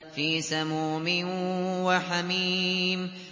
فِي سَمُومٍ وَحَمِيمٍ